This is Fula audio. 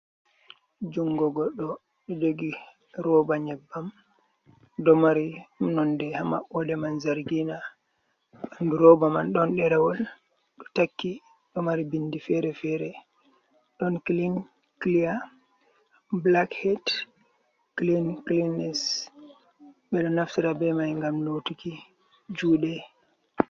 Jungo goɗɗo oɗo jogi rooɓa nyeɓɓam. Ɗo mari nonɗe ha maɓoɗe man zargina. Roba man ɗon ɗerawol ɗo takki, ɗo mari ɓinɗi fere-fere. Ɗon kilin kiliya, bulak heɗ, kilin kilines. Ɓe ɗo naftira ɓe mai ngam lotuki juuɗe.